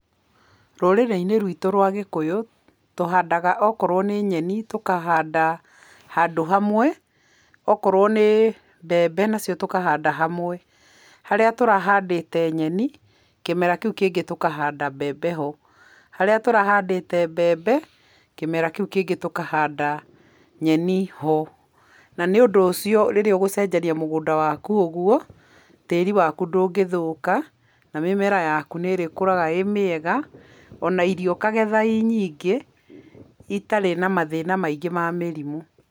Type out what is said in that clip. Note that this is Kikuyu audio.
Rũrĩrĩ-inĩ rwĩtũ rwa gĩkũyũ, tũhandaga okorwo nĩ nyeni tũkahanda handũ hamwe, okorwo nĩ mbembe nacio tũkahanda hamwe. Harĩa tũrahandĩte nyeni kĩmera kĩu kĩngĩ tũhandata mbembe ho. Harĩa tũrahandĩte mbembe kĩmera kĩu kĩngĩ tũkahanda nyeni ho. Na nĩũndũ ũcio, rĩrĩa ũgũcenjeria mũgũnda waku ũgwo, tĩĩri waku ndũngĩthũka na mĩmera yaku nĩrĩkũraga ĩĩ mĩega, ona irio ũkagetha ii nyingĩ itarĩ na mathĩna maingĩ ma mĩrimũ.